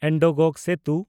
ᱮᱱᱰᱚᱜᱽᱜᱚ ᱥᱮᱛᱩ